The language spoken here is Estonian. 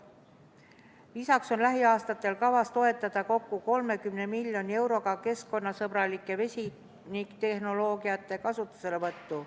Lisaks on lähiaastatel kavas toetada kokku 30 miljoni euroga keskkonnasõbralike vesiniktehnoloogiate kasutuselevõttu.